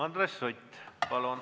Andres Sutt, palun!